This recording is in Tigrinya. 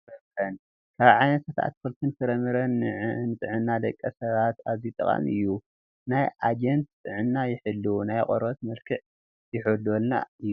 ኣትክልትን ፍራምረን፡- ካብ ዓይነታት ኣትክልትን ፍራምረን ንጥዕና ደቂ ሰባት ኣዝዩ ጠቃሚ እዩ፡፡ ናይ ኣንጀት ጥዕና ይሕልው፣ ናይ ቆርበት መልክዕ ይሕልወልና እዩ፡፡